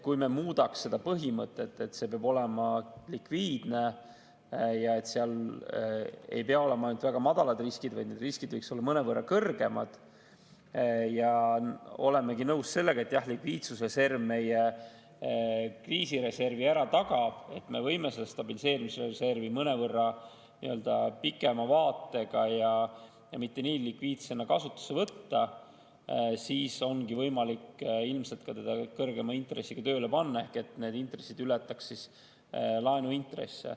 Kui me muudaks seda põhimõtet, et see peab olema likviidne ja et seal ei pea olema ainult väga madalad riskid, vaid need riskid võiks olla mõnevõrra kõrgemad, ja oleme nõus sellega, et likviidsusreserv meie kriisireservi tagab, et me võime seda stabiliseerimisreservi mõnevõrra pikema vaatega ja mitte nii likviidsena kasutusse võtta, siis ongi ilmselt võimalik teda kõrgema intressiga tööle panna, et need intressid ületaks laenuintresse.